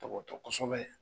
Tɔbɔtɔ kosɛbɛ